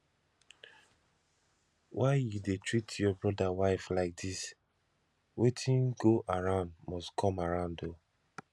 why you dey treat your brother wife like dis wetin go around must come around oo